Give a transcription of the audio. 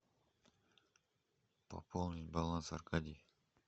пополнить баланс аркадий